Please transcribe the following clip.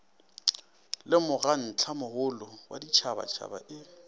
le mokgatlomogolo wa ditšhabatšhaba e